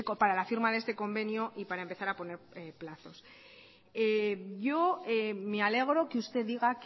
para la firma de este convenio y para empezar a poner plazos yo me alegro que usted diga